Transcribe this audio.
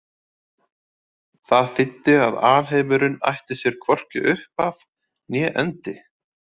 Það þýddi að alheimurinn ætti sér hvorki upphaf né endi.